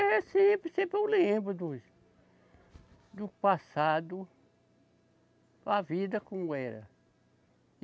É sempre, sempre eu lembro dos, do passado, a vida como era.